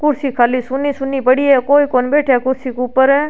कुर्सी खाली सुनी सुनी पड़ी है कोई कोन बैठया कुर्सी के ऊपर।